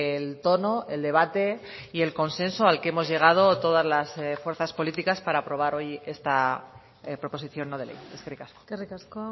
el tono el debate y el consenso al que hemos llegado todas las fuerzas políticas para aprobar hoy esta proposición no de ley eskerrik asko eskerrik asko